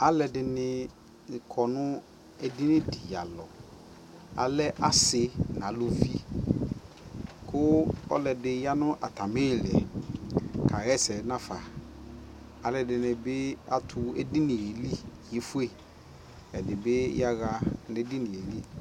Alʋɔdini kɔ nʋ edini dι alɔ Alɛ asi nʋ alʋvi kʋ ɔlʋɔdi ya nʋ atami iilikawaɛs nafa Alʋɔdini bι atʋ edini yelι, ɛdι bι yaɣa nʋ edini hɛ lι